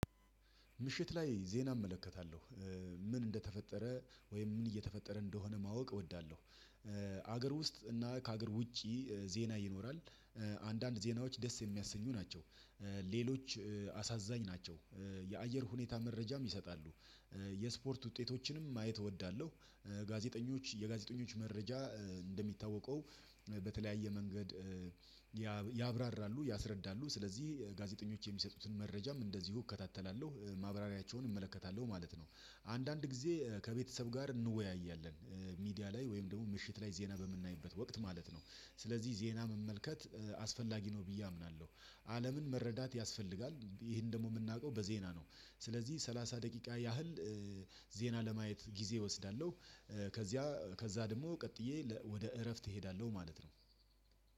ምሽት ላይ ዜና እመለከታለሁ። ምን እንደተፈጠረ ወይም ምን እየተፈጠረ እንደሆነ ማወቅ እወዳለሁ። ሀገር ውስጥ እና ከሀገር ውጪ ዜና ይኖራል አንዳንድ ዜናዎች ደስ የሚያሰኙ ናቸው ሌሎች አሳዛኝ ናቸው የአየር ሁኔታ መረጃም ይሰጣሉ የስፖርት ውጤቶችንም ማየት እወዳለሁ ጋዜጠኞች የጋዜጠኞች መረጃ እንደሚታወቀው በተለያየ መንገድ ያብራራሉ፣ ያስረዳሉ ስለዚህ ጋዜጠኞች የሚሰጡትን መረጃም እንደዚሁ እከታተላለሁ ማብራሪያቸውን እመለከታለሁ ማለት ነው። አንዳንድ ጊዜ ከቤተሰብ ጋር እንወያያለን ሚዲያ ላይ ወይም ደግሞ ምሽት ላይ ዜና በምናይበት ወቅት ማለት ነው። ስለዚህ ዜና መመልከት አስፈላጊ ነው ብዬ አምናለሁ አለምን መረዳት ያስፈልጋል ይሄን ደግሞ የምናውቀው በዜና ነው። ስለዚህ ሰላሳ ደቂቃ ያህል ዜና ለማየት ጊዜ እወስዳለሁ። ከዚያ ከዛ ደግሞ ቀጥዬ ወደ እረፍት እሄዳለሁ ማለት ነው።